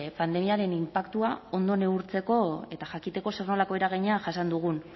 pandemiaren inpaktua ondo neurtzeko eta jakiteko zer nolako eragina jasan dugun